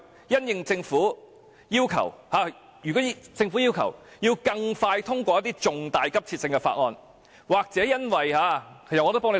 如果政府要求更快通過一些重大急切性的議案，或因為......